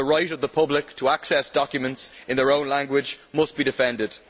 The right of the public to access documents in their own language must be defended.